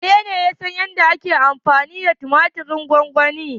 Wanene ya san yadda ake amfani da tumatirin gwamgwani?